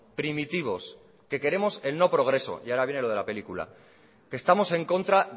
primitivos que queremos el no progreso y ahora viene lo de la película que estamos en contra